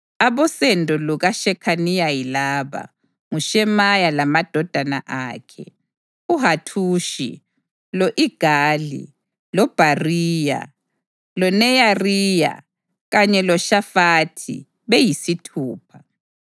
Abosendo lukaShekhaniya yilaba: nguShemaya lamadodana akhe: uHathushi, lo-Igali, loBhariya, loNeyariya kanye loShafathi, beyisithupha.